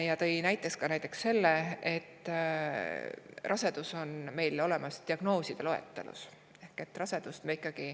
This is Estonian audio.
Ta tõi näite, et rasedus on meil olemas ka diagnooside loetelus.